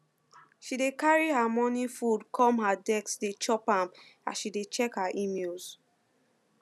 she dey carry her morning food come her desk dey chop am as she dey check her emails